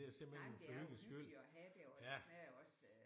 Nej men det er jo hyggeligt at have det og det smager jo også